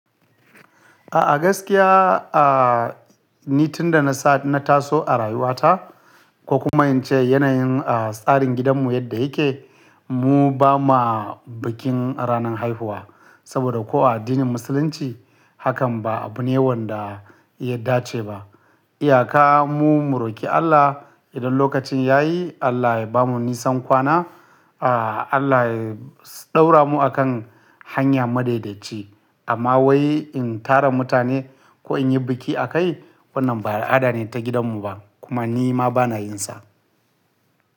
A'a gaskiya, ah ni tun da na sa, na taso a rayuwata ko kuma in ce yanayin tsarin gidanmu yadda yake, mu ba ma bikin ranar haihuwa. Saboda ko a addinin musulunci hakan ba abune wanda ya dace ba. Iyaka mu mu roki Allah idan lokacin ya yi, Allah ya bamu nisan kwana, a Allah ya ɗaura mu akan hanya madadaici. Amma wai in tara mutane ko in yi biki akai, wannan ba al'ada ne ta gidanmu ba kuma ni ma bana yinsa.